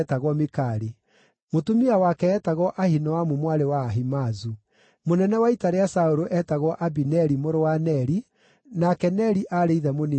Mũtumia wake eetagwo Ahinoamu mwarĩ wa Ahimaazu. Mũnene wa ita rĩa Saũlũ eetagwo Abineri mũrũ wa Neri, nake Neri aarĩ ithe mũnini wa Saũlũ.